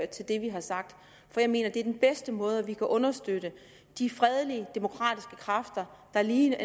det vi har sagt for jeg mener at det er den bedste måde vi kan understøtte de fredelige demokratiske kræfter der lige